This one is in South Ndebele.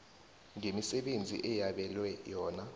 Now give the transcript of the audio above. ngemisebenzi eyabelwe yona